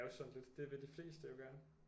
Jo sådan lidt det vil de fleste jo gerne